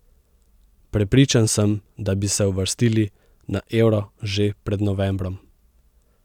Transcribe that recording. Prepričan sem, da bi se uvrstili na euro že pred novembrom.